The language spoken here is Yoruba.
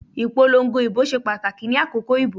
Ìpolongo ìbò ṣe pàtàkì ni àkókò ìbò